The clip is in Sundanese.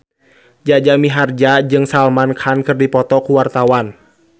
Jaja Mihardja jeung Salman Khan keur dipoto ku wartawan